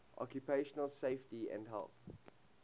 occupational safety and health